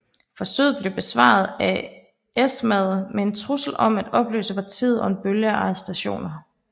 Forsøget blev besvaret af SMAD med en trussel om at opløse partiet og en bølge af arrestationer